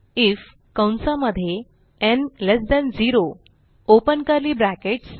if कंसा मध्ये n less than ल्ट 0 ओपन कर्ली ब्रॅकेट्स